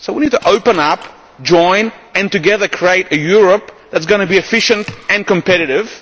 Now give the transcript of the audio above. need. So I want you to open up, join and together create a Europe that is going to be efficient and competitive.